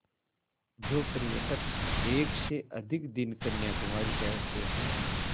जो पर्यटक एक से अधिक दिन कन्याकुमारी ठहरते हैं